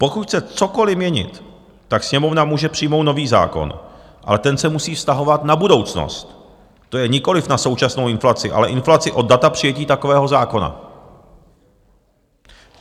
Pokud chce cokoliv měnit, tak Sněmovna může přijmout nový zákon, ale ten se musí vztahovat na budoucnost, to je nikoliv na současnou inflaci, ale inflaci od data přijetí takového zákona.